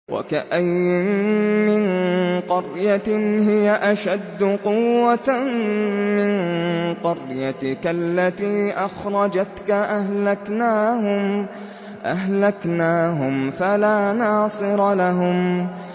وَكَأَيِّن مِّن قَرْيَةٍ هِيَ أَشَدُّ قُوَّةً مِّن قَرْيَتِكَ الَّتِي أَخْرَجَتْكَ أَهْلَكْنَاهُمْ فَلَا نَاصِرَ لَهُمْ